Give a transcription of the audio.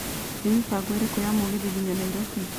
nĩ mĩbango ĩrĩkũ ya mũgithi nginya nairobi